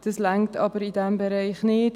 Das reicht aber in diesem Bereich nicht.